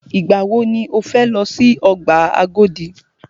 Ìgbà wọ ni o fẹ lọ si ọgbà Agodi?